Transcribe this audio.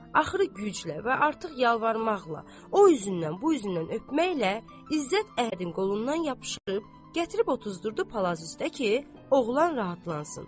Axırı güclə və artıq yalvarmaqla, o üzündən, bu üzündən öpməklə İzzət Əhədin qolundan yapışıb gətirib otuzdurdu palaz üstdə ki, oğlan rahatlansın.